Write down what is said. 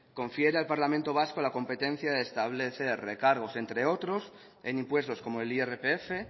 confiere al parlamento vasco la competencia de establecer recargos entre otros en impuestos como el irpf